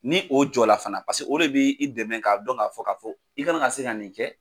Ni o jɔ la fana paseke o de bi i dɛmɛ ka dɔn k'a fɔ ka fɔ i kana ka se ka nin kɛ.